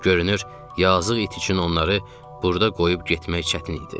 Görünür, yazıq it üçün onları burda qoyub getmək çətin idi.